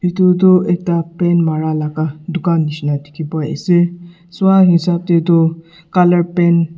etu tu ekta paint mara laka dukan nishina diki pa ase sua hisab de tu color paint .